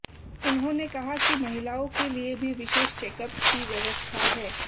उन्होंने कहा कि महिलाओं के लिए भी विशेष चैकअप की व्यवस्था है